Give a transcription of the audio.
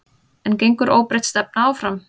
En gengur óbreytt stefna áfram?